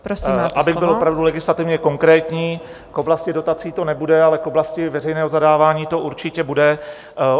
Abych byl opravdu legislativně konkrétní, k oblasti dotací to nebude, ale k oblasti veřejného zadávání to určitě bude.